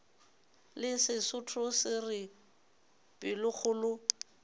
le sesotho se re pelokgolo